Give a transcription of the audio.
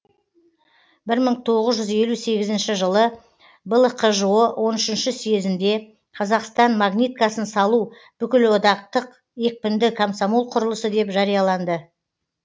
бір мың тоғыз жүз елу сегізінші жылы блкжо он үшінші съезінде қазақстан магниткасын салу бүкілодақтық екпінді комсомол құрылысы деп жарияланды